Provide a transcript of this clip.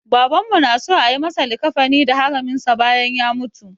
Babanmu na so a yi masa likkafani da haraminsa bayan ya mutu.